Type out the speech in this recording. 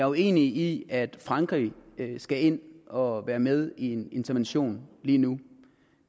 uenig i at frankrig skal ind og være med i en intervention lige nu